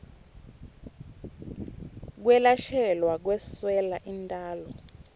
kwelashelwa kweswela intalo